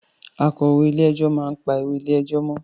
Akọ̀wé ilé ẹjọ́ máa ń pa ìwé ilé ẹjọ́ mọ́